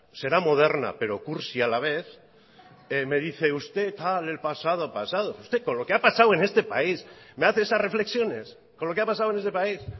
será moderna pero cursi a la vez me dice usted tal el pasado pasado usted con lo que ha pasado en este país me hace esas reflexiones con lo que ha pasado en este país